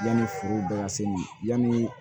Yanni forow bɛ ka se ma yanni